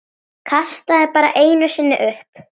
Kastaði bara einu sinni upp.